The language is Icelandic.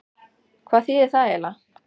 Hvað þýðir það eiginlega?